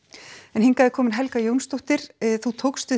en hingað er komin Helga Jónsdóttir þú tókst við